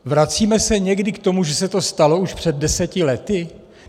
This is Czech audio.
Vracíme se někdy k tomu, že se to stalo už před deseti lety?